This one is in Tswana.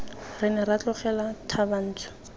re ne ra tlogela thabantsho